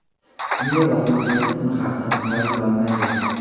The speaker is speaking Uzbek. unga bosim o‘tkazib uni xavfdan himoya qilolmaysiz.